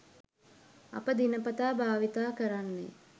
අප දිනපතා භාවිතා කරන්නේ